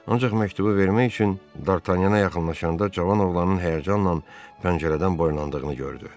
Ancaq məktubu vermək üçün D'Artagnana yaxınlaşanda cavan oğlanın həyəcanla pəncərədən boylandığını gördü.